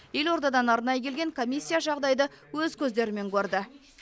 елордадан арнайы келген комиссия жағдайды өз көздерімен көрді